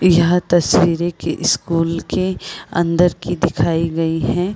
यह तस्वीरें के स्कूल के अंदर की दिखाई गई हैं।